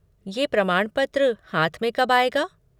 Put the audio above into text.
ये प्रमाणपत्र हाथ में कब आएगा?